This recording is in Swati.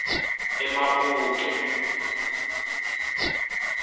emaputo